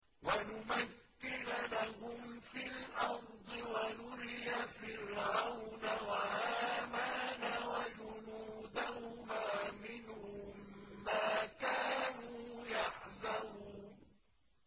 وَنُمَكِّنَ لَهُمْ فِي الْأَرْضِ وَنُرِيَ فِرْعَوْنَ وَهَامَانَ وَجُنُودَهُمَا مِنْهُم مَّا كَانُوا يَحْذَرُونَ